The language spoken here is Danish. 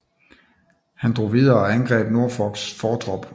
Han drog videre og angreb Norfolks fortrop